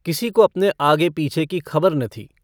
किसी को अपने आगे-पीछे की खबर न थी।